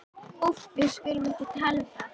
Úff, við skulum ekki tala um það.